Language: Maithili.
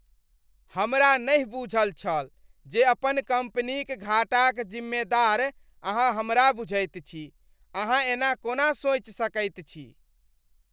हमरा नहि बूझल छल जे अपन कंपनीक घाटाक जिम्मेदार अहाँ हमरा बुझैत छी, अहाँ एना कोना सोचि सकैत छी ?